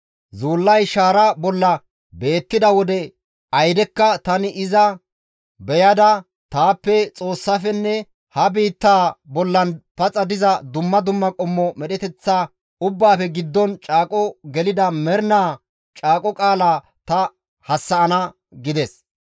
Zuullay shaara bolla beettida wode aydekka tani iza beyada taappe Xoossaafenne ha biittaa bollan paxa diza dumma dumma qommo medheteththa ubbaafe giddon caaqo gelida mernaa caaqo qaalaa ta hassa7ana» gides.